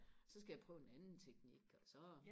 så skal jeg prøve en anden teknik og så